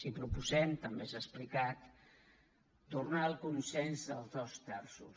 i proposem també s’ha explicat tornar al consens dels dos terços